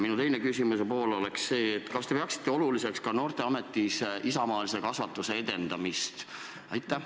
Minu küsimuse teine pool aga on see: kas te peate oluliseks noorteametis ka isamaalise kasvatuse edendamist?